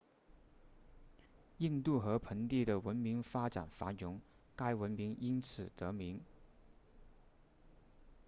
印度河盆地的文明发展繁荣该文明因此得名